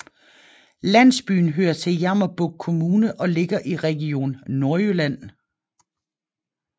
Landsbyen hører til Jammerbugt Kommune og ligger i Region Nordjylland